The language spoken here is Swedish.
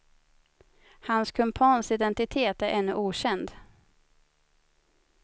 Hans kumpans identitet är ännu okänd.